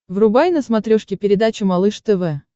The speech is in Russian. врубай на смотрешке передачу малыш тв